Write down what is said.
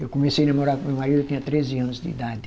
Eu comecei namorar com meu marido, eu tinha treze anos de idade.